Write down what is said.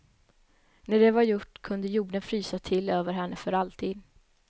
När det var gjort kunde jorden frysa till över henne för alltid.